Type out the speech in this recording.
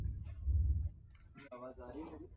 जी आवाज आ रही हैं मेरी